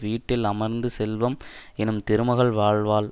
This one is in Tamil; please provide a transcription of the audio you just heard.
வீட்டில் அமர்ந்து செல்வம் எனும் திருமகள் வாழ்வாள்